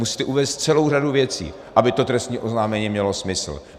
Musíte uvést celou řadu věcí, aby to trestní oznámení mělo smysl.